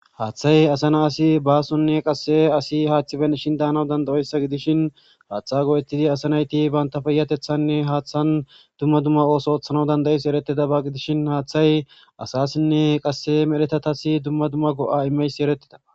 haaththay asana asi baasonne qasse asi haaththiben ishin daanaw dandayoyssa gidishin haaththa go7etidi asanayti baynta peyatethanne haaththan dumma dumma ooso othanaw danda7es eretida ba gidishin haaththay asasinne qasse merhetatasi dumma dumma go7a imeys eretteda